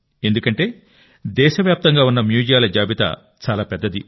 ఎందుకంటే దేశవ్యాప్తంగా ఉన్న మ్యూజియాల జాబితా చాలా పెద్దది